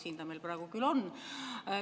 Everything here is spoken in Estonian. Siin ta meil praegu on.